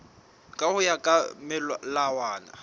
ka ho ya ka melawana